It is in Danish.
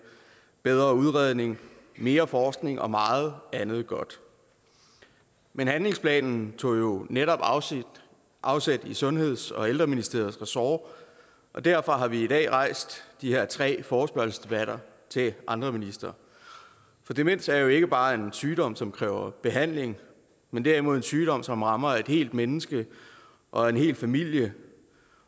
bedre udredning mere forskning og meget andet godt men handlingsplanen tog jo netop afsæt i sundheds og ældreministeriets ressort og derfor har vi i dag rejst de her tre forespørgselsdebatter til andre ministre for demens er jo ikke bare en sygdom som kræver behandling men derimod en sygdom som rammer et helt menneske og en hel familie